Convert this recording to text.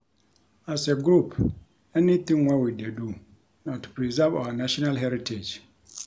As a group anything wey we dey do na to preserve our national heritage